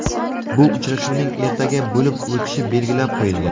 Bu uchrashuvning ertaga bo‘lib o‘tishi belgilab qo‘yilgan.